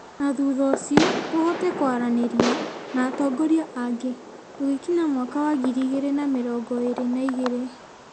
na thutha ũcio tũhote kwaranĩria na atongoria angĩ tũgĩkinya mwaka wa ngiri igĩrĩ na mĩrongo ĩrĩ na igĩrĩ.